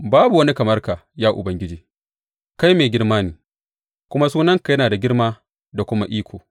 Babu wani kamar ka, ya Ubangiji; kai mai girma ne, kuma sunanka yana da girma da kuma iko.